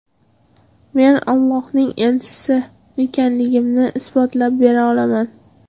Men Ollohning elchisi ekanligimni isbotlab bera olaman.